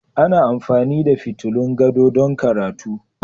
Ana amfani da fitulun gado don karatu